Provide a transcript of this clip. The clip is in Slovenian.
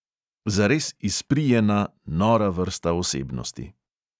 Zares izprijena, nora vrsta osebnosti.